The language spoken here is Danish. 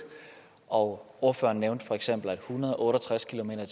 og ordføreren nævnte feks at en hundrede og otte og tres kilometer